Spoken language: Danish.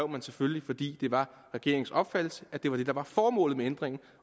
man selvfølgelig fordi det var regeringens opfattelse at det var det der var formålet med ændringen